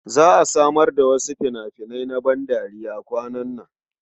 Za a samar da wasu fina-finai na bandariya kwanan nan.